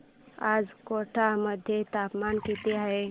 आज कोटा मध्ये तापमान किती आहे